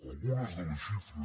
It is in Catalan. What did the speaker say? algunes de les xifres